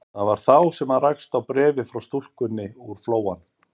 Það var þá sem hann rakst á bréfið frá stúlkunni úr Flóanum.